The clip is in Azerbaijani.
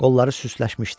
Qolları süsləşmişdi.